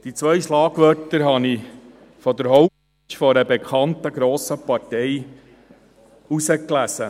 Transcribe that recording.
Diese beiden Schlagwörter habe ich auf der Homepage einer bekannten grossen Partei gelesen.